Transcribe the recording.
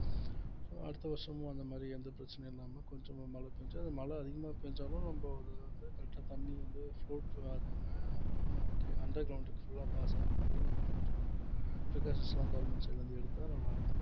so அடுத்த வருஷமும் அந்த மாதிரி எந்த பிரச்சனையும் இல்லாம கொஞ்சமா மழை பெஞ்சு அது மழை அதிகமா பேஞ்சாலும் நம்ம அது வந்து correct ஆ தண்ணி வந்து ஆகாம okay underground க்கு full ஆ pass ஆகுற மாதிரி நம்ம கொஞ்சம் precautions எல்லாம் government side ல இருந்து எடுத்தா நல்லா இருக்கும்